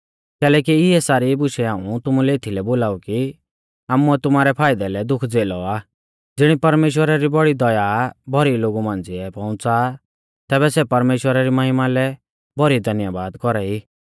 कैलैकि इऐ सारी बुशै हाऊं तुमुलै एथीलै बोलाऊ कि आमुऐ तुमारै फाइदै लै दुख झ़ेलौ आ ज़िणी परमेश्‍वरा री बौड़ी दया भौरी लोगु मांझ़िऐ पौउंच़ा आ तैबै सै परमेश्‍वरा री महिमा लै भौरी धन्यबाद कौरा ई